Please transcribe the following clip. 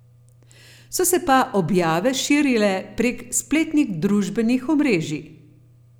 So se pa objave širile prek spletnih družbenih omrežij.